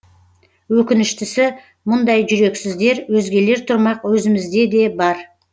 өкініштісі мұндай жүрексіздер өзгелер тұрмақ өзімізде де бар